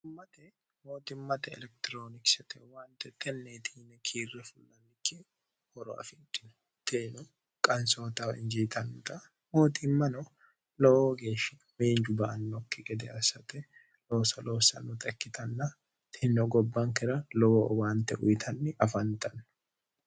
hummate mootimmate elekitiroonikisete uwaante xnntne kiirre fulnikki horo afidhino teeno qansootawa injiitannota mooximmano lowo geeshshi meenju ba annokki gede assate looso loossannota ikkitanna tino gobbankira lowo uwaante uyitanni afanxanno